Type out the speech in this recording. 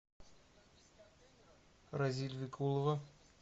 разиль викулова